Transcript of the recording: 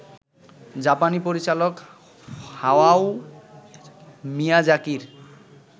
জাপানি পরিচালক হায়াও মিয়াজাকির